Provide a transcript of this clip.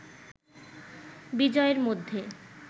বিজয়ের মধ্যে